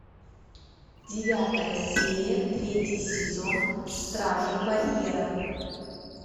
девятая серия третий сезон стражи барьера